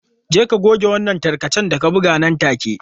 Je ka goge wannan tarkacen da ka buga nan take.